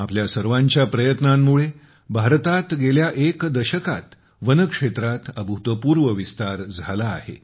आपल्या सर्वांच्या प्रयत्नांमुळे भारतात गेल्या एका दशकात वनक्षेत्रात अभूतपूर्व विस्तार झाला आहे